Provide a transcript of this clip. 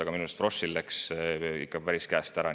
Aga minu arust läks Froschil asi ikka päris käest ära.